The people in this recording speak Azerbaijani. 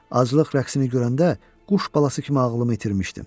Aclıq rəqsini görəndə quş balası kimi ağlımı itirmişdim.